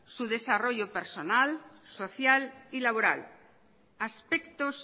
su desarrollo personal social y laboral aspectos